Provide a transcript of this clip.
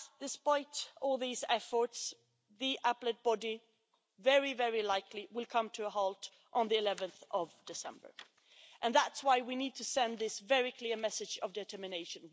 Alas, despite all these efforts, the Appellate Body will very likely come to a halt on 11 December, and that's why we need to send this very clear message of determination.